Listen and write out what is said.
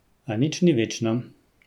A nič ni večno.